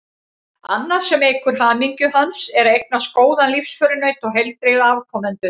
Annað sem eykur hamingju hans er að eignast góðan lífsförunaut og heilbrigða afkomendur.